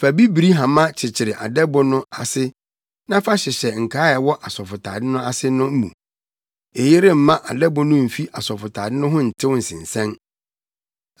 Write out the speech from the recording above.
Fa bibiri hama kyekyere adɛbo no ase na fa hyehyɛ nkaa a ɛwɔ asɔfotade no ase no mu. Eyi remma adɛbo no mfi asɔfotade no ho ntew nsensɛn.